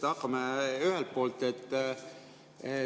Hakkame ühelt poolt pihta.